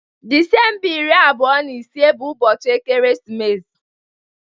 Disemba iri abụọ na ise bụ ụbọchị ekeresimesi.